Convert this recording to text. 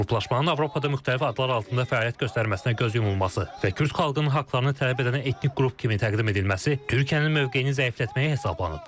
Qruplaşmanın Avropada müxtəlif adlar altında fəaliyyət göstərməsinə göz yumulması və Kürd xalqının haqlarını tələb edən etnik qrup kimi təqdim edilməsi Türkiyənin mövqeyini zəiflətməyə hesablanıb.